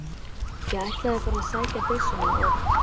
Ég ætlaði bara að sækja byssuna og.